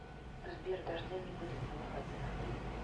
сбер дождя не будет на выходных